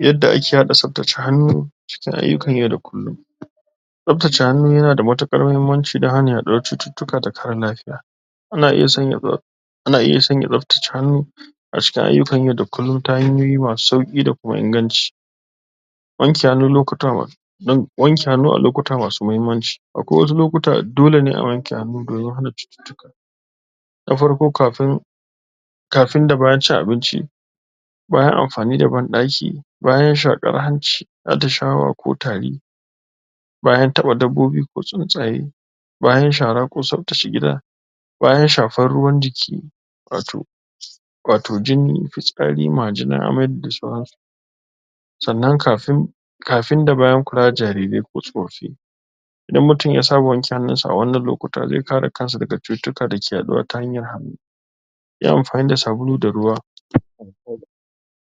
yadda ake haɗa tsaftace hannu cikin ayyukan yau da kullum tsaftace hannu yana da matuƙar mahimmanci dan hana a ɗau cututtuka da kare lafiya ana iya sanya ana iya sanya tsaftace hannu a cikin ayyukan yau da kullum ta hanyoyi masu sauƙi da kuma inganci wanke hannu lokuta wanke hannu a lokuta masu mahimmanci akwai wasu lokuta da dole ne a wanke hannu domin hana cututtuka na farko kafin kafin da bayan cin abinci bayan amfani da banɗaki bayan shaƙar hanci atishawa ko tari bayan taɓa dabbobi ko tsuntsaye bayan shara ko tsaftace gida bayan shafan ruwan jiki wato wato jini, fitsari, majina, amai da sauransu sannan kafin da bayan kula da jarirai ko tsofaffi idan mutum ya saba wanke hannun sa a wannan lokuta ze kare kansa daga cututtuka da ke yaɗuwa ta hanyar yi amfani da sabulu da ruwa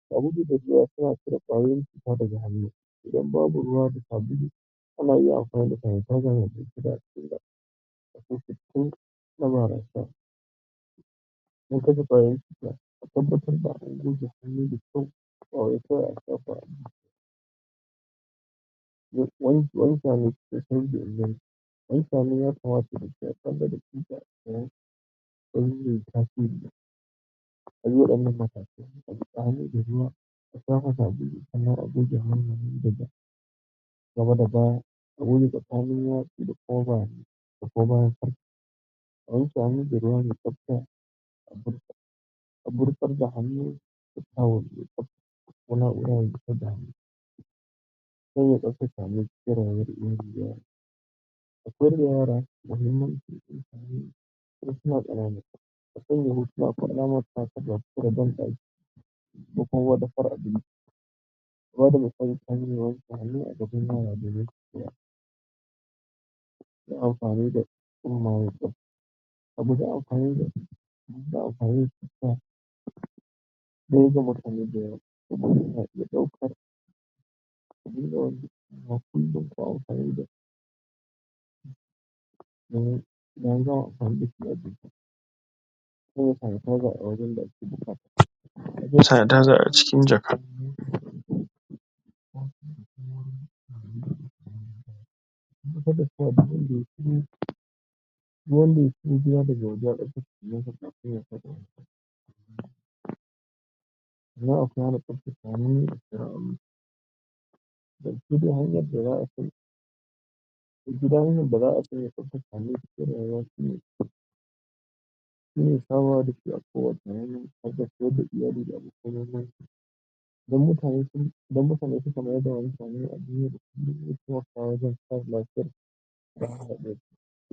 sabulu da ruwa suna cire ƙwayoyin cuta daga hannu idan babu ruwa da sabulu ana iya amfani da sanitizer domin kashe ƙwayoyin cuta a tabbatar da an goge hannu da kyau ba wai kawai a shafa ba